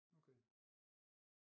Okay